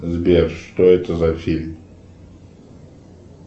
сбер что это за фильм